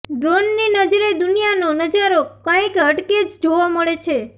ડ્રોનની નજરે દુનિયાનો નજારો કાંઈક હટકે જ જોવા મળે છે